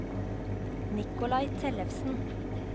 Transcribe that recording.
Nikolai Tellefsen